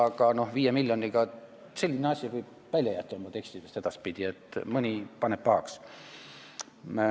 Aga 5 miljoni võib jätta oma tekstidest edaspidi välja, muidu mõni ehk paneb pahaks.